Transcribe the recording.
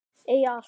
Eiga allt.